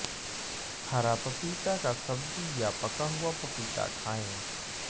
हरा पपीता का सब्जी या पका हुआ पपीता खाएं